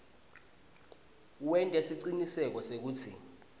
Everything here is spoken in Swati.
wente siciniseko sekutsi